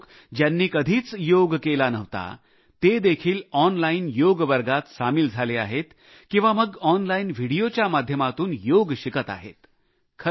कित्येक लोकं ज्यांनी कधीच योग केला नव्हता ते देखील ऑनलाईन योग वर्गात सामील झाले आहेत किंवा मग ऑनलाईन व्हिडीओच्या माध्यमातून योग शिकत आहेत